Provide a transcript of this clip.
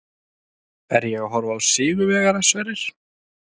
Er ég að horfa á sigurvegara, Sverrir?